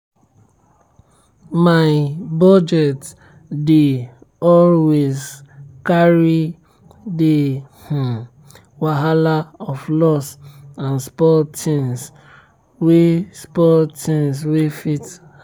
my budget dey always carry the wahala of loss and spoilt tins wey spoilt tins wey fit happen.